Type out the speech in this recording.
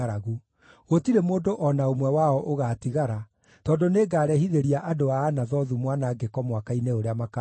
Gũtirĩ mũndũ o na ũmwe wao ũgaatigara, tondũ nĩngarehithĩria andũ a Anathothu mwanangĩko mwaka-inĩ ũrĩa makaaherithio.’ ”